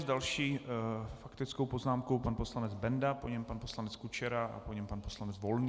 S další faktickou poznámkou pan poslanec Benda, po něm pan poslanec Kučera a po něm pan poslanec Volný.